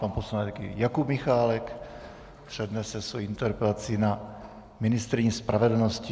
Pan poslanec Jakub Michálek přednese svoji interpelaci na ministryni spravedlnosti.